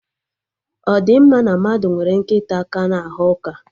Ọ di mma na mmadụ nwere nkịta ka na-aghọ ụka?